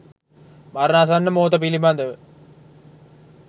මරණාසන්න මොහොත පිළිබඳව